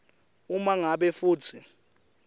uma ngabe futsi